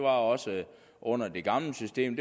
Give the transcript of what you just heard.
også under det gamle system